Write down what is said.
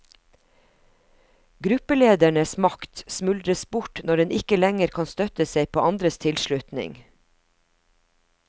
Gruppeledernes makt smuldres bort når den ikke lenger kan støtte seg på andres tilslutning.